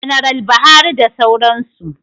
Janaral Buhari da sauran su